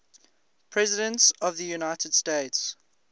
presidents of the united states